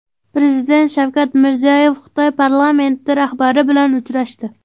Prezident Shavkat Mirziyoyev Xitoy parlamenti rahbari bilan uchrashdi.